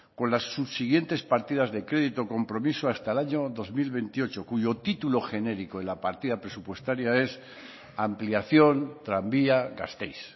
con las subsiguientes partidas de crédito compromiso hasta el año dos mil veintiocho cuyo título genérico en la partida presupuestaria es ampliación tranvía gasteiz